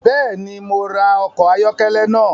Bẹẹni, Mo rá ọkọ ayọkẹlẹ náà